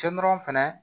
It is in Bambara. Cɛ nɔrɔ fɛnɛ